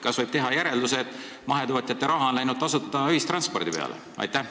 Kas võib teha järelduse, et mahetootjate raha on läinud tasuta ühistranspordi peale?